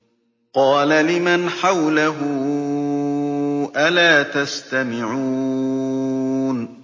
قَالَ لِمَنْ حَوْلَهُ أَلَا تَسْتَمِعُونَ